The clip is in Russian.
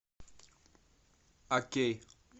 окей